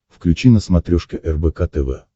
включи на смотрешке рбк тв